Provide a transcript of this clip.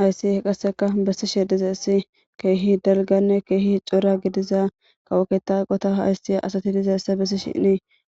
Hayssi qasseka besishe diizaysi kehi dalggane kehi cora giidiza kawo ketta eqqota asiya asati dizayssane bessishin